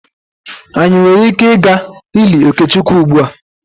Anyị nwere ike ịga ili Okechukwu ugbua?